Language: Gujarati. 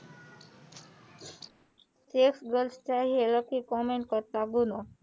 કમેન્ટ કરતા ગુનો